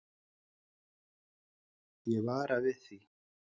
Ég vara við því.